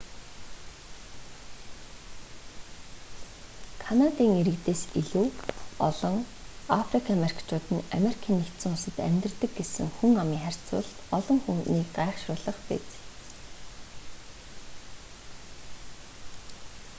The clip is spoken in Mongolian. канадын иргэдээс илүү олон африк америкчууд нь ану-д амьдардаг гэсэн хүн амын харьцуулалт олон хүнийг гайхашруулах биз